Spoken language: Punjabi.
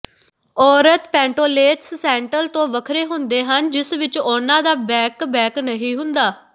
ਔਰਤ ਪੈਂਟੋਲੇਟਸ ਸੈਂਟਲ ਤੋਂ ਵੱਖਰੇ ਹੁੰਦੇ ਹਨ ਜਿਸ ਵਿੱਚ ਉਹਨਾਂ ਦਾ ਬੈਕ ਬੈਕ ਨਹੀਂ ਹੁੰਦਾ